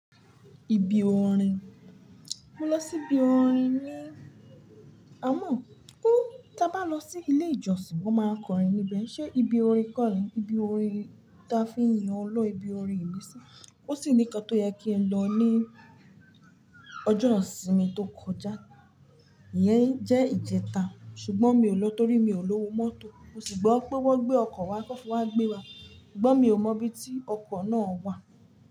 Ibi orin, mo lọ sí ibi orin ní amo. Ó, tá bá lọ sí ilé ìjọsìn wón máa n kọrin níbẹ̀. Ṣé ibi orin kọ́ ni? Ibi orin tá fi ń yìn ọlọ́run, ibi orin ìmísí. Ó sì ní ìkan tó yẹ kí n lọ ní ọjọ́ ìsinmi tó kọjá, ìyẹn jẹ́ ìjẹta. Ṣùgbọ́n mi ò lọ torí mi ò lówó mọ́tò. Mo sì gbọ́ pé wọ́n gbé ọkọ̀ wá kí wọ́n fi wá gbé wa, ṣùgbọ́n mi ò mọ ibi tí ọkọ̀ náà wà.